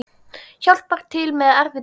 Hjálpar til með erfið dæmi.